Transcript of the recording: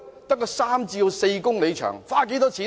只是三四公里，花了多少錢呢？